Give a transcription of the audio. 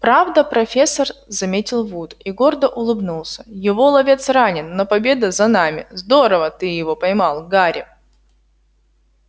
правда профессор заметил вуд и гордо улыбнулся его ловец ранен но победа за нами здорово ты его поймал гарри